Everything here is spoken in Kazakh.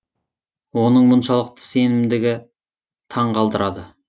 оның мұншалықты сенімдігі таң қалдырады